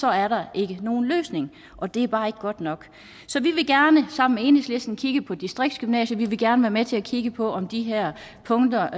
er der ikke nogen løsning og det er bare ikke godt nok så vi vil gerne sammen med enhedslisten kigge på distriktsgymnasier vi vil gerne være med til at kigge på om de her punkter